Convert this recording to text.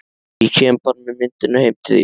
Ég kem bara með myndirnar heim til þín.